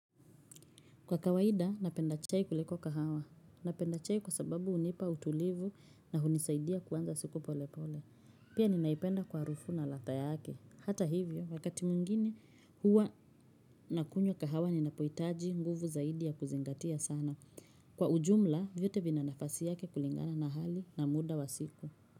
Kwa kawaida, napenda chai kuliko kahawa. Napenda chai kwa sababu hunipa utulivu na hunisaidia kuanza siku pole pole. Pia ninaipenda kwa harufu na ladha yake. Hata hivyo, wakati mwingine huwa nakunywa kahawa ninapoitaji nguvu zaidi ya kuzingatia sana. Kwa ujumla, vyote vina nafasi yake kulingana na hali na muda wa siku.